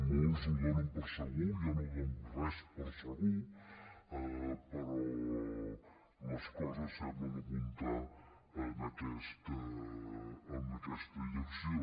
molts ho donen per segur jo no dono res per segur però les coses semblen apuntar en aquesta direcció